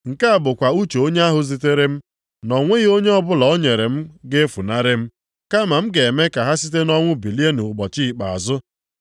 Nke a bụkwa uche onye ahụ zitere m, na o nweghị onye ọbụla o nyere m ga-efunarị m, kama m ga-eme ka ha site nʼọnwụ bilie nʼụbọchị ikpeazụ.